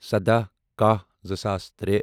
سدہَ کہہَ زٕساس ترے